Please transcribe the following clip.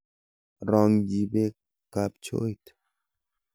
Raang'ji beek kabchooit.